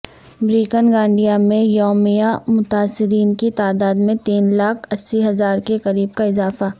breaking India میں یومیہ متاثرین کی تعداد میں تین لاکھ اسی ہزار کے قریب کا اضافہ